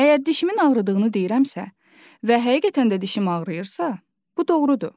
Əgər dişimin ağrıdığını deyirəmsə və həqiqətən də dişim ağrıyırsa, bu doğrudur.